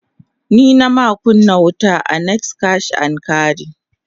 Ni nama kunna wuta a "next Cash n carry".